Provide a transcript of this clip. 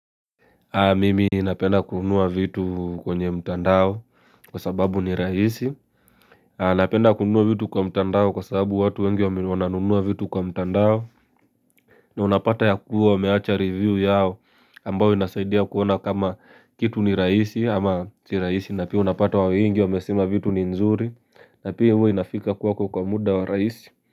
Mimi napenda kunua vitu kwenye mtandao kwa sababu ni rahisi. Napenda kunua vitu kwa mtandao kwa sababu watu wengi wananunua vitu kwa mtandao. Na unapata ya kuwa wameacha review yao ambao inasaidia kuona kama kitu ni rahisi ama si rahisi. Na pia unapata wa wengi wamesema vitu ni nzuri na pia huo inafika kwako kwa muda wa rahisi.